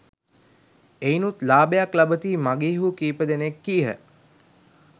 එයිනුත් ලාභයක් ලබතියි මගීහු කීපදෙනෙක් කීහ.